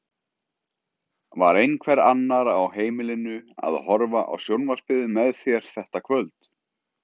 Var einhver annar á heimilinu að horfa á sjónvarpið með þér þetta kvöld?